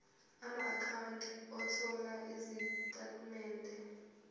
amaakhawunti othola izitatimende